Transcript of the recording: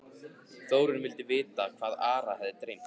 Þórunn vildi vita hvað Ara hefði dreymt.